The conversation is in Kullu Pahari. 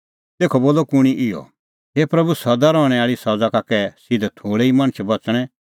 तेखअ बोलअ कुंणी इहअ हे प्रभू सदा रहणैं आल़ी सज़ा का कै सिधै थोल़ै ई मणछ बच़णै